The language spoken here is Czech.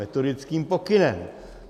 Metodickým pokynem.